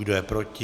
Kdo je proti?